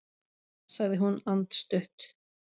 sagði hún andstutt.